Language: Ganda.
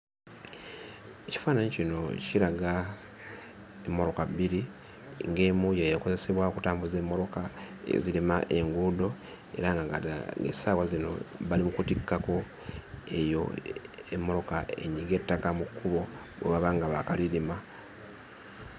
Ekifaananyi kino kiraga emmoloka bbiri, ng'emu y'ekozesebwa okutambuza emmoloka ezirima enguudo era nga kati essaawa zino bali mu kutikkako eyo emmoloka enyiga ettaka mu kkubo bwe baba nga baakalirima.